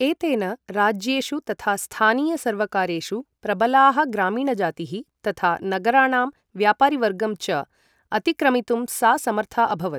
एतेन राज्येषु तथा स्थानीय सर्वकारेषु प्रबलाः ग्रामीणजातीः तथा नगराणां व्यापारीवर्गं च अतिक्रमितुं सा समर्था अभवत्।